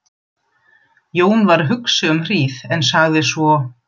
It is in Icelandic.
Jón var hugsi um hríð en sagði svo